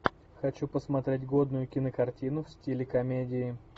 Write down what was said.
хочу посмотреть годную кинокартину в стиле комедии